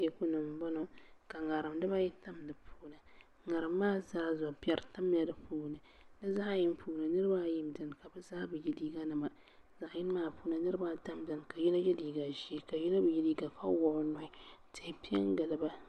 Teeku ni n boŋo ka ŋarim dibayi tam di puuni ŋarim maa zaa zuɣu piɛri tamla di puuni di zaɣ yini puuni niraba ayi n biɛni ka bi zaa bi yɛ liiga nima zaɣ yini maa puuni niraba ata n biɛni ka yino yɛ liiga ʒiɛ ka yino bi yɛ liiga ka wuɣi o nuhi tihi piɛ n giliba